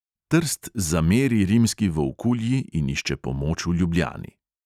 Trst zameri rimski volkulji in išče pomoč v ljubljani.